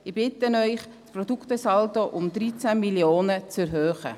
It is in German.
Ich bitte Sie, den Produktesaldo um 13 Mio. Franken zu erhöhen.